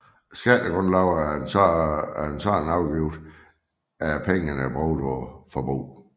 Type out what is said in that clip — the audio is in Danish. Skattegrundlaget af en sådan afgift er pengene brugt på forbrug